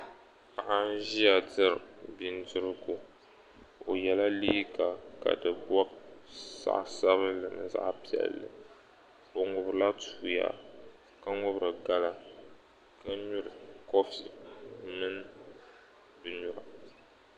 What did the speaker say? paɣa n ʒiya diri bindirigu o yela liiga ka di bɔb zaɣ'sabinli mini zaɣ'piɛlli o ŋʋbirila toya ka ŋʋbiri gala ka nyuri kɔfi mini binyura